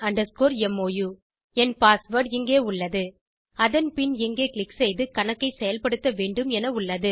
Kannan mou என் password இங்கே உள்ளது அதன் பின் இங்கே க்ளிக் செய்து கணக்கைச் செயல்படுத்த வேண்டும் என உள்ளது